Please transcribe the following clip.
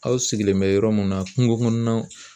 Aw sigilen bɛ yɔrɔ mun na kungo kɔnɔnaw